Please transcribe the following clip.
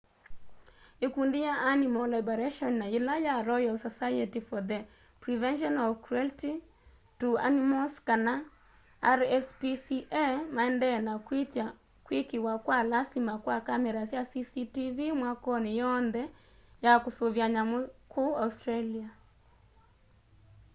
ikundi ya animal liberation na yila ya royal society for the prevention of cruelty to animals kana rspca maendeeye na kwitya kwikiwa kwa lasima kwa kamera sya cctv mwakoni yoonthe ya kusuvia nyamu ku australia